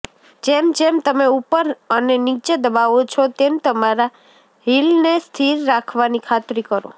જેમ જેમ તમે ઉપર અને નીચે દબાવો છો તેમ તમારા હીલને સ્થિર રાખવાની ખાતરી કરો